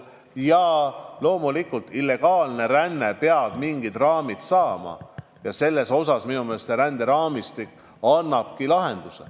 Ja loomulikult peab illegaalne ränne mingid raamid saama ja minu meelest ränderaamistik annabki selle lahenduse.